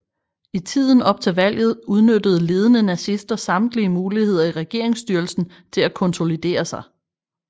I tiden op til valget udnyttede ledende nazister samtlige muligheder i regeringsstyrelsen til at konsolidere sig